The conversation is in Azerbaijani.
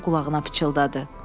qulağına pıçıldadı.